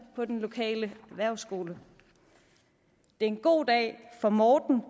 på den lokale erhvervsskole det er en god dag for morten